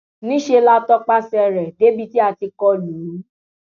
níṣẹ la tọpasẹ rẹ débi tí a ti kọ lù ú